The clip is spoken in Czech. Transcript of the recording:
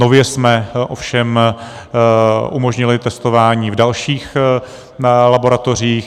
Nově jsme ovšem umožnili testování v dalších laboratořích.